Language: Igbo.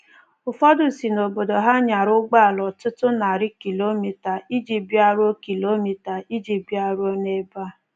Ụfọdụ si n’obodo ha nyara ụgbọala ọtụtụ narị kilomita iji bịaruo kilomita iji bịaruo n’ebe a.